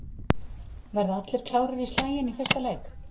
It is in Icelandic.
Verða allir klárir í slaginn í fyrsta leik?